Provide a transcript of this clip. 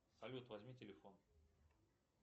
салют возьми телефон